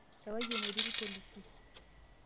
Ewaki enetii ilpolisi.